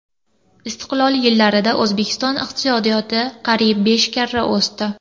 Istiqlol yillarida O‘zbekiston iqtisodiyoti qariyb besh karra o‘sdi.